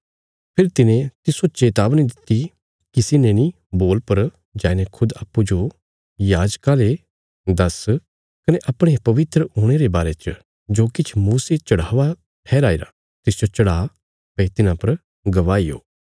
फेरी तिने तिस्सो चेतावनी दित्ति किसी ने नीं बोल पर जाईने खुद अप्पूँजो याजका ले दास्स कने अपणे पवित्र हुणे रे बारे च जो किछ मूसे चढ़ावा ठैहराईरा तिसजो चढ़ा भई तिन्हां पर गवाही हो